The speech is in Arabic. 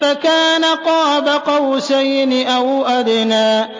فَكَانَ قَابَ قَوْسَيْنِ أَوْ أَدْنَىٰ